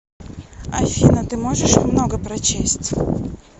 афина ты можешь много прочесть